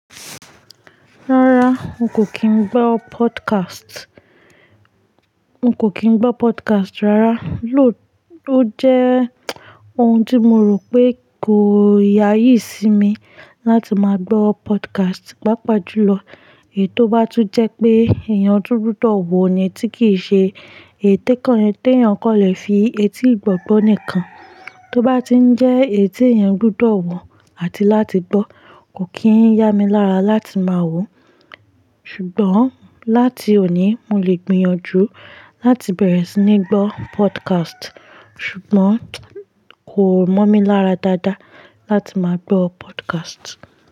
Rárá, n kò kín gbọ́ podcast. N kò kín gbọ́ podcast rárá. Lóò ló jẹ́ ohun tí mo rò pé kò yayi sí mi láti máa gbọ́ podcast. Pápa jùlọ ètó bá tún jẹ́ pé èèyàn tu gbodo wọ̀ ni tí kì í ṣe ète kankan tí èèyàn kọ́lẹ̀ fi etí gbọ̀gbọ́ nìkan. Tó bá ti ń jẹ́ eyi ti èèyàn gbodo ọwọ̀ àti láti gbọ́ kò kín ya mi lára láti máa wò ó. Ṣùgbọ́n láti òní mo lè gbìyànjú láti bẹ̀rẹ̀ sí ní gbọ́ podcast. Ṣùgbọ́n kò mọ̀ mí lára dáadáa láti máa gbọ́ podcast.